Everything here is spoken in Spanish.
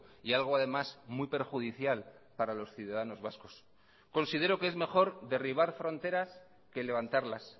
y algo además muy perjudicial para los ciudadanos vascos considero que es mejor derribar fronteras que levantarlas